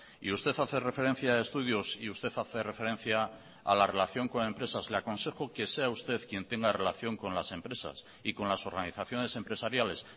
y usted hace referencia a estudios y usted hace referencia a la relación con empresas le aconsejo que sea usted quien tenga relación con las empresas y con las organizaciones empresariales